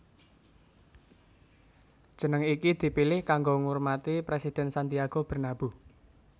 Jeneng iki dipilih kanggo ngurmati Presiden Santiago Bernabeu